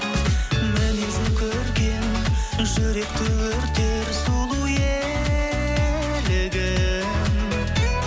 мінезі көркем жүректі өртер сұлу елігім